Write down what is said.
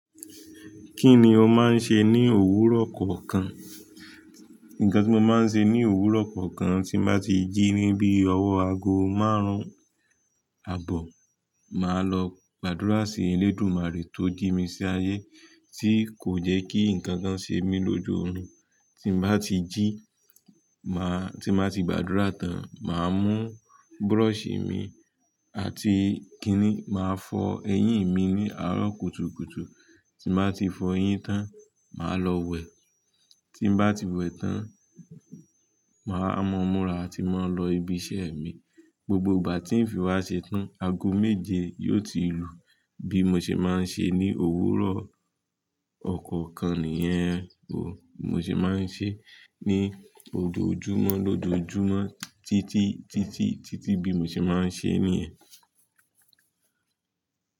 Kí ni o máa ń ṣe ní òwúrọ̀ kọ̀ kan? Nǹkan tí mo máa ń ṣe ní òwúrọ̀ kọ̀ kan, tí mo bá ti jí níbí ọwọ́ aago márùn-ún àbọ̀, màá lọ gbàdúrà sí Elédùmarè tó jí mi sí ayé, tí kò jẹ́ kí ǹnkan kan ṣe mí lójú oorun. Tí mo bá ti jí, màá-- tí mo bá ti gbàdúrà tán, màá mú búrọ̀sì mi àti kiní, màá fọ eyín mi ní àárọ̀ kùtùkùtù. Tí mo bá ti fọ eyín tán, màá lọ wẹ̀. Tí mo bá ti wẹ̀ tán, màá mọmúra àti máa lọ ibi iṣẹ́ mi. Gbogbo ìgbà tí ìfìwásẹ̀ tan, aago méje yóò ti lù. Bí mo ṣe máa ń ṣe ní òwúrọ̀ ọkọ̀ kan nìyẹn o, mo sì máa ń ṣe ní ojoojúmọ́ lójoojúmọ́ títí, títí, títí bí mo ṣe máa ń ṣe nìyẹn.